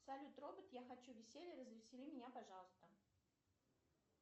салют робот я хочу веселья развесели меня пожалуйста